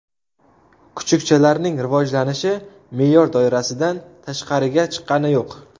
Kuchukchalarning rivojlanishi me’yor doirasidan tashqariga chiqqani yo‘q.